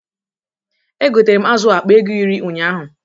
E gotere m azụ a akpa ego iri ụnyaahụ.